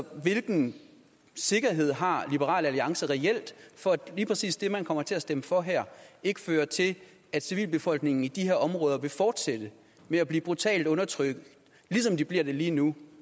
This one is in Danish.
hvilken sikkerhed har liberal alliance reelt for at lige præcis det man kommer til at stemme for her ikke fører til at civilbefolkningen i de her områder fortsat vil blive brutalt undertrykt ligesom de bliver det lige nu